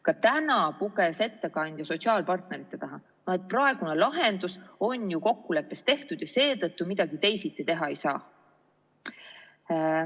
Ka täna puges ettekandja sotsiaalpartnerite taha, et praegune lahendus on ju kokkuleppes tehtud ja seetõttu midagi teisiti teha ei saa.